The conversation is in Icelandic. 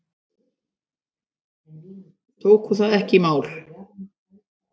Tóku það ekki í mál.